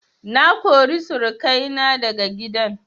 Na kori surukai na daga gidan